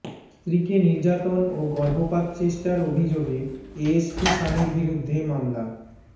স্ত্রীকে নির্যাতন ও গর্ভপাত চেষ্টার অভিযোগে এএসপি স্বামীর বিরুদ্ধে মামলা